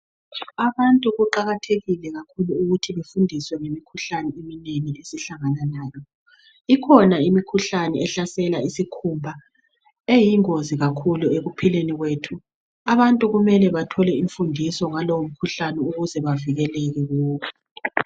Abantu kuqakathekile kakhulu ukuthi befundiswe ngemikhuhlane eminengi esihlangana layo, ikhona imikhuhlane ehlasela isikhumba eyingozi kakhulu ekuphileni kwethu abantu kumele bathole imfundiso ngalowo mkhuhlane ukuze bavikeleke kuwo.